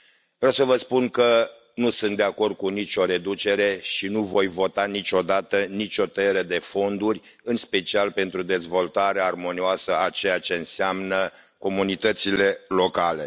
Vreau să vă spun că nu sunt de acord cu nicio reducere și nu voi vota niciodată nicio tăiere de fonduri, în special pentru dezvoltarea armonioasă a ceea ce înseamnă comunitățile locale.